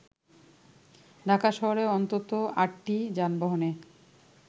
ঢাকা শহরে অন্তত আটটি যানবাহনে